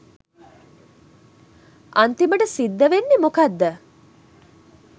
අන්තිමට සිද්ධ වෙන්නේ මොකද්ද